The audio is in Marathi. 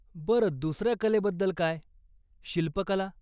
बरं, दुसऱ्या कलेबद्दल काय शिल्पकला?